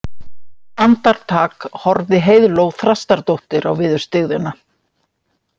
Andartak horfði Heiðló Þrastardóttir á viðurstyggðina